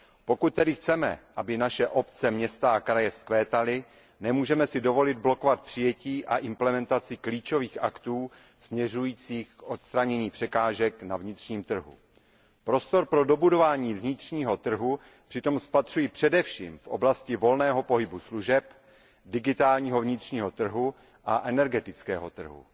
Pokud tedy chceme, aby naše obce, města a kraje vzkvétaly, nemůžeme si dovolit blokovat přijetí a implementaci klíčových aktů směřujících k odstranění překážek na vnitřním trhu. Prostor pro dobudování vnitřního trhu přitom spatřuji především v oblasti volného pohybu služeb, digitálního vnitřního trhu a energetického trhu.